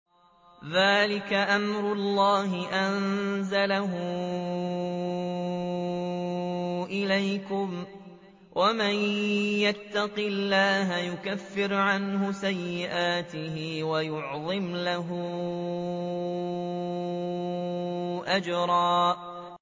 ذَٰلِكَ أَمْرُ اللَّهِ أَنزَلَهُ إِلَيْكُمْ ۚ وَمَن يَتَّقِ اللَّهَ يُكَفِّرْ عَنْهُ سَيِّئَاتِهِ وَيُعْظِمْ لَهُ أَجْرًا